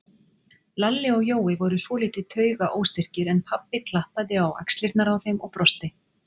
Lalli og Jói voru svolítið taugaóstyrkir, en pabbi klappaði á axlirnar á þeim og brosti.